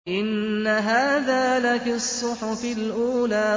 إِنَّ هَٰذَا لَفِي الصُّحُفِ الْأُولَىٰ